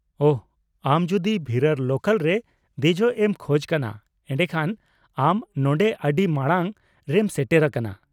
ᱳᱦᱚ, ᱟᱢ ᱡᱩᱫᱤ ᱵᱷᱤᱨᱟᱨ ᱞᱳᱠᱟᱞ ᱨᱮ ᱫᱮᱡᱚᱜ ᱮᱢ ᱠᱷᱚᱡ ᱠᱟᱱᱟ ᱮᱰᱮᱠᱷᱟᱱ ᱟᱢ ᱱᱚᱰᱮ ᱟᱹᱰᱤ ᱢᱟᱲᱟᱝ ᱨᱮᱢ ᱥᱮᱴᱮᱨ ᱟᱠᱟᱱᱟ ᱾